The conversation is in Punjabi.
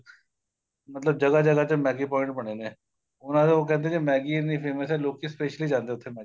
ਮਤਲਬ ਜਗ੍ਹਾ ਜਗ੍ਹਾ ਚ Maggie point ਬਣੇ ਨੇ ਉਹਨਾ ਦੇ ਉਹ ਕਹਿੰਦੇ ਜੇ Maggie ਇੰਨੀ famous ਏ ਲੋਕੀ specially ਜਾਂਦੇ ਏ ਉੱਥੇ Maggie ਖਾਣ